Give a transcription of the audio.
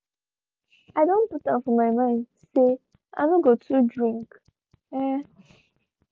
i don put am for my mind say i no go too drink. um